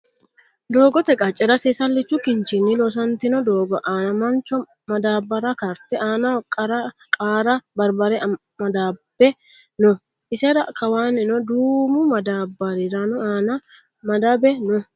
Doogote qacce'ra Seesallichu kinchinni loosantino doogo aana mancho Madaabba'ra karte aanaho qaa'ra barbare maddabbe no. Isera kawaannino duumu madaabba'ri aanano Maddabbe no.